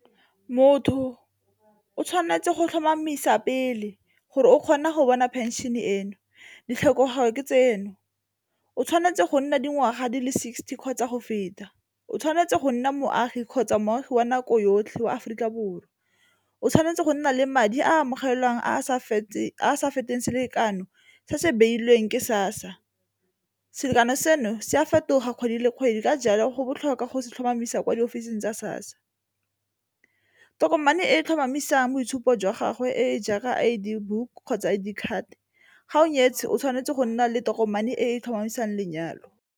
Motho o tshwanetse go tlhomamisa pele gore o kgona go bona pension-e eno, ditlhokego ke tseno, o tshwanetse go nna dingwaga di le sixty kgotsa go feta, o tshwanetse go nna moagi kgotsa moagi wa nako yotlhe wa Aforika Borwa, o tshwanetse go nna le madi a amogelang a a sa fetang selekano se se beilweng ke SASSA. Selekanyo seno se a fetoga kgwedi le kgwedi ka jalo go botlhokwa go se tlhomamisa kwa di ofising tsa SASSA, tokomane e tlhomamisang boitshupo jwa gagwe e jaaka I_D book kgotsa I_D card ga o nyetswe o tshwanetse go nna le tokomane e tlhomamisang lenyalo.